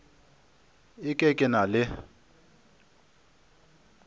e ke ke na le